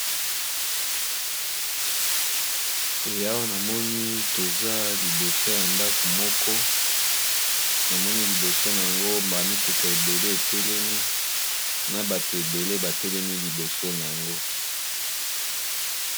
Eawa namoni toza liboso ya ndako moko namoni liboso nango ba mituka ebele etelemi na bato ebele batelemi liboso nango.